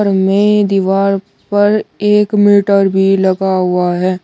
मे दीवार पर एक मीटर भी लगा हुआ है।